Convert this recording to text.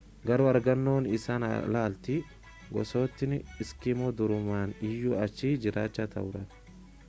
garuu argannoo isaan alatti gosootni iskimoo durumaan iyyuu achi jiraachaa turan